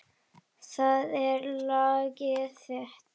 Það er lagið þitt.